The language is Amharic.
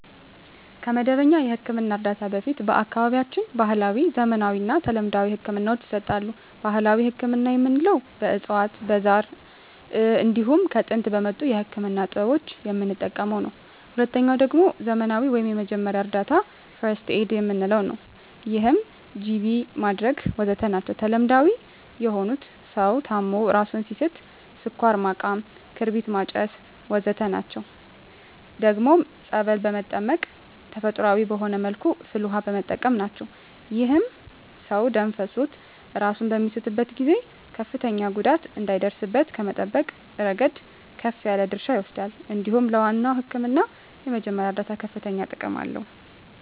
ከመደበኛ የሕክምና እርዳታ በፊት በአካባቢያችን ባህለዊ፣ ዘመናዊና ተለምዷዊ ህክምናወች ይሰጣሉ። ባህላዊ ህክምና የምንለዉ በእፅዋት በዛር እንዲሁም ከጥንት በመጡ የህክምና ጥበቦች የምንጠቀመዉ ነዉ። ሁለተኛዉ ደግሞ ዘመናዊ ወይም የመጀመሪያ እርዳታ(ፈርክት ኤድ) የምንለዉ ነዉ ይህም ጅቢ ማድረግ ወዘተ ናቸዉ። ተለምዳዊ የሆኑት ሰዉ ታሞ እራሱን ሲስት ስኳር ማቃም ክርቢት ማጨስ ወዘተ ናቸዉ። ደግሞም ፀበል በመጠመቅ ተፈጥሮአዊ በሆነ መልኩ ፍል ዉሃ በመጠቀም ናቸዉ። ይህም ሰዉ ደም ፈሶት እራሱን በሚስትበት ጊዜ ከፍተኛ ጉዳት እንዳይደርስበት ከመጠበቅ እረገድ ከፍ ያለ ድርሻ ይወስዳል እንዲሁም ለዋናዉ ህክምና የመጀመሪያ እርዳታ ከፍተኛ ጥቅም አለዉ።